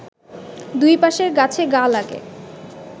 দুই পাশের গাছে গা লাগে